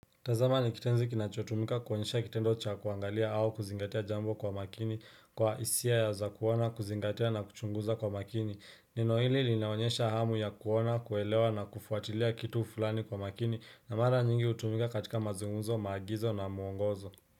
Tazama ni kitenzi kinachotumika kuonyesha kitendo cha kuangalia au kuzingatia jambo kwa makini kwa hisia za kuona kuzingatia na kuchunguza kwa makini neno hili linaonyesha hamu ya kuona kuelewa na kufuatilia kitu fulani kwa makini na mara nyingi hutumika katika mazunguzo maagizo na muongozo.